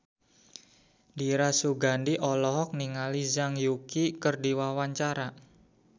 Dira Sugandi olohok ningali Zhang Yuqi keur diwawancara